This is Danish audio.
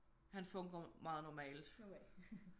Han funker meget normalt